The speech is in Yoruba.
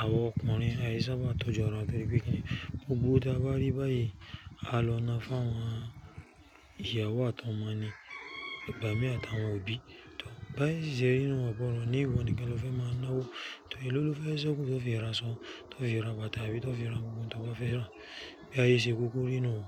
àwa ọkùnrin àyí ṣàbá tọ́jú ara torí pé kíni, gbogbo owó tí a bá rí báyìí, a lọ na fún àwọn ìyàwó àti ọmọ ni, igbàmí àti àwọn òbí. Báye ṣíṣe rí ni un, ó gbọ́dọ̀ ni ìwọ nìkan lọ fẹ́ máa na wó, tòrí e lo ló fẹ́ seku, tó fi ra aṣọ, tó fi ra bàtà àbí tó fi ra gbogbo ohun tó bá fẹ́ rà, bí ayé ṣe kúkúrú nu un.